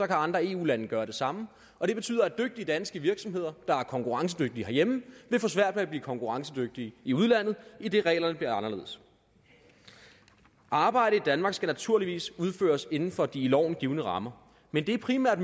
kan andre eu lande gøre det samme og det betyder at dygtige danske virksomheder der er konkurrencedygtige herhjemme vil få svært ved at blive konkurrencedygtige i udlandet idet reglerne bliver anderledes arbejde i danmark skal naturligvis udføres inden for de i loven givne rammer men det er primært